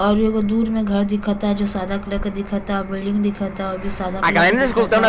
और एगो दूर मे घर दिखअ ता जो सादा कलर के दिखअ ता और बिल्डिंग दिखअ ताउ भी सादा कलर के दिखअ ता।